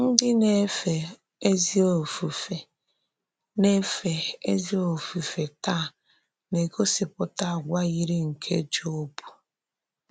Ndị na-èfè ezì òfùfé na-èfè ezì òfùfé tàá na-egosìpùtà àgwà yírí nke Jọb.